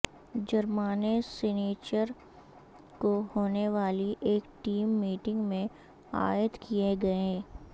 جرمانے سنیچر کو ہونے والی ایک ٹیم میٹنگ میں عائد کیےگئے